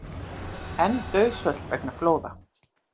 Enn dauðsföll vegna flóða